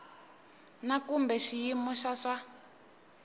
na kumbe xiyimo xa swa